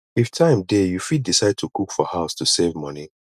if time dey you fit decide to cook for house to save money